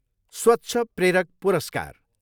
स्वच्छ प्रेरक पुरस्कार।